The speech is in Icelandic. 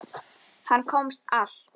Hann komst allt.